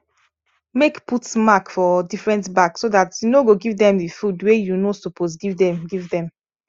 make put mark for different bag so that u no go give them the food wa you no suppose give them give them